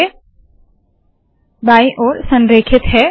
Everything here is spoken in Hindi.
अब ये बायी ओर संरेखित है